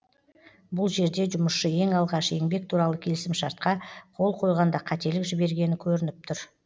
бұл жерде жұмысшы ең алғаш еңбек туралы келісімшартқа қол қойғанда қателік жібергені көрініп тұр